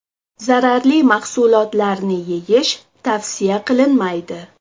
Zararli mahsulotlarni yeyish tavsiya qilinmaydi.